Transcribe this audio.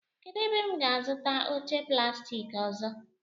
Kedụ ebe m ga-azụta oche plastik ọzọ?